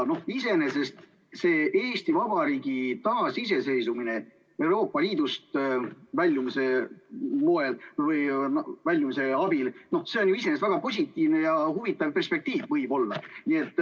Iseenesest see Eesti Vabariigi taasiseseisvumine Euroopa Liidust väljumise moel või abil on ju iseenesest väga positiivne ja huvitav perspektiiv, võib-olla.